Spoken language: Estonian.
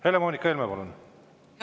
Helle-Moonika Helme, palun!